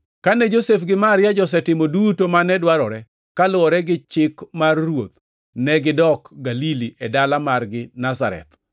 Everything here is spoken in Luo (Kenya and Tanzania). Kane Josef gi Maria josetimo duto mane dwarore kaluwore gi chik mar Ruoth, negidok Galili e dala margi Nazareth.